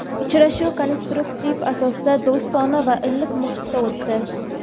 Uchrashuv konstruktiv asosda, do‘stona va iliq muhitda o‘tdi.